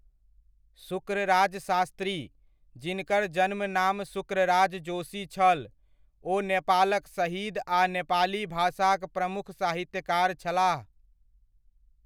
शुक्रराज शास्त्री, जिनकर जन्मनाम शुक्रराज जोशी छल, ओ नेपालक शहीद आ नेपाली भाषाक प्रमुख साहित्यकार छलाह ।